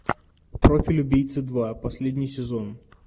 профиль убийцы два последний сезон